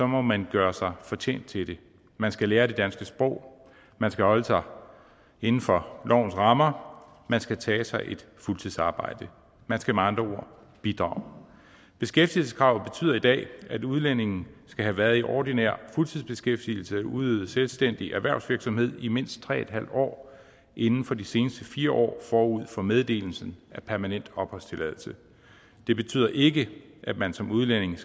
må man gøre sig fortjent til det man skal lære det danske sprog man skal holde sig inden for lovens rammer man skal tage sig et fuldtidsarbejde man skal med andre ord bidrage beskæftigelseskravet betyder i dag at udlændinge skal have været i ordinær fuldtidsbeskæftigelse eller udøvet selvstændig erhvervsvirksomhed i mindst tre en halv år inden for de seneste fire år forud for meddelelsen af permanent opholdstilladelse det betyder ikke at man som udlænding